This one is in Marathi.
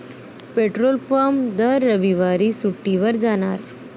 पेट्रोलपंप दर रविवारी सुट्टीवर जाणार!